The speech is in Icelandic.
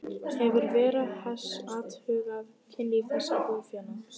Hefur Vera Hess athugað kynlíf þessa búfénaðar?